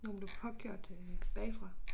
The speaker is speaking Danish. Hvor hun blev påkørt øh bagfra